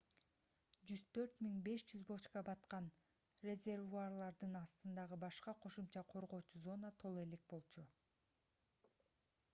104 500 бочка баткан резервуарлардын астындагы башка кошумча коргоочу зона толо элек болчу